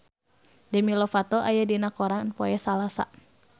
Demi Lovato aya dina koran poe Salasa